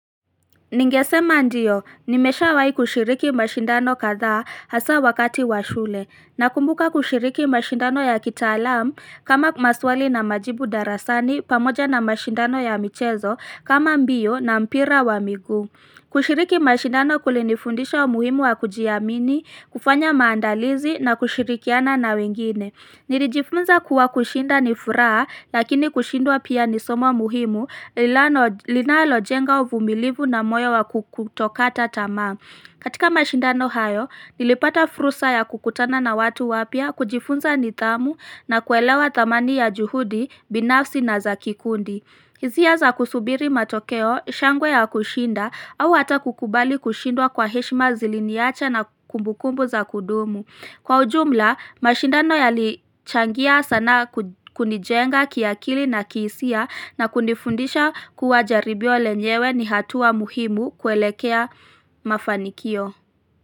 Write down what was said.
Ningesema ndiyo, nimesha wahi kushiriki mashindano kadhaa hasa wakati washule, na kumbuka kushiriki mashindano ya kitaalam kama maswali na majibu darasani pamoja na mashindano ya michezo kama mbio na mpira wa miguu kushiriki mashindano kulinifundisha muhimu wa kujiamini, kufanya maandalizi na kushirikiana na wengine. Nilijifunza kuwa kushinda ni furaha lakini kushindwa pia ni somo muhimu linalo lina lojenga uvumilivu na moyo wa kukutokata tamaa katika mashindano hayo, nilipata fursa ya kukutana na watu wapya kujifunza ni dhamu na kuelewa damani ya juhudi, binafsi na za kikundi. Hisia za kusubiri matokeo, shangwe ya kushinda au hata kukubali kushindwa kwa heshima ziliniacha na kumbukumbu za kudumu. Kwa ujumla, mashindano yali changia sana kunijenga kiakili na kihisia na kunifundisha kuwa jaribio lenyewe ni hatua muhimu kuelekea mafanikio.